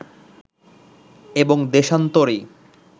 এবং দেশান্তরী